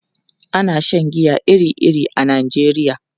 Ana shan giya iri-iri a Najeriya.